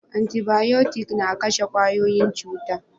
Antibayotic na kashe kwayoyin cuta